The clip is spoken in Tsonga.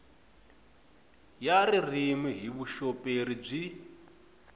ya ririmi hi vuxoperi byi